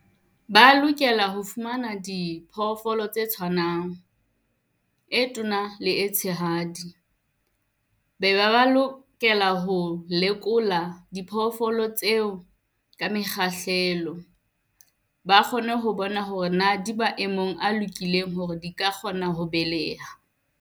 Ba lokela ho fumana diphoofolo tse tshwanang, e tona le e tshehadi. Be ba ba lokela ho lekola dipoofolo tseo ka mekgahlelo, ba kgone ho bona hore na di maemong a lokileng hore di ka kgona ho beleha.